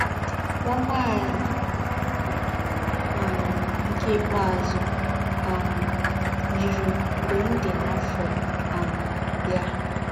Nwa nwa anyị um nke ikpeazụ um yiri m mgbe m dị afọ um ya.